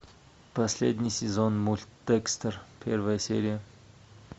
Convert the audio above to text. последний сезон мульт декстер первая серия